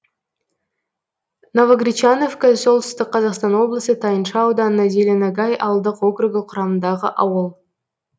новогречановка солтүстік қазақстан облысы тайынша ауданы зеленогай ауылдық округі құрамындағы ауыл